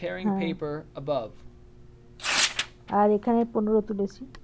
হ্যাঁ। আর এখানে পনের তুলেছি।